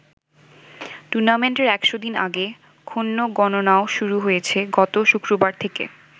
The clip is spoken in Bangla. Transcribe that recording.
টুর্নামেন্টের ১০০ দিন আগে ক্ষণ গণনাও শুরু হয়েছে গত শুক্রবার থেকে।